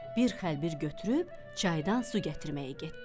Bir xəlbir götürüb çaydan su gətirməyə getdi.